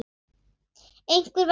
Einhver var í hættu.